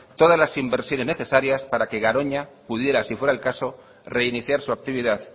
todas las inversiones necesarias para que garoña pudiera si fuera el caso reiniciar su actividad